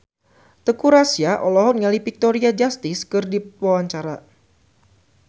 Teuku Rassya olohok ningali Victoria Justice keur diwawancara